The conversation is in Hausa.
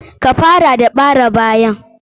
Ka fara da bare bayan.